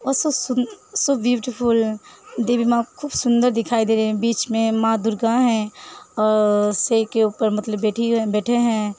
सो beautiful देवि माँ खूब सुंदर दिखाई दे रही है बिच मे मा दुर्गा है और शेर के ऊपर मतलब बैठी है बैठे हैं।